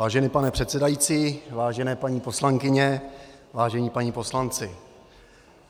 Vážený pane předsedající, vážené paní poslankyně, vážení páni poslanci,